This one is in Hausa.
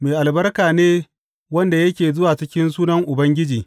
Mai albarka ne wanda yake zuwa cikin sunan Ubangiji!